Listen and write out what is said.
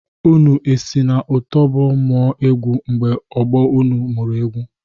Unu esi na otobo mụọ egwu mgbe ọgbọ unu mụrụ egwu?